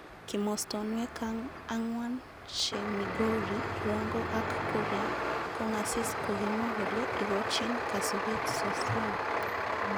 Kimostonwek angwan che Migori, Rongo ak ,Kuria kong asis kokimwa kole ikochin kasubet sosion.